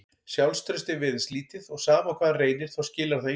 Sjálfstraustið virðist lítið og sama hvað hann reynir þá skilar það engu.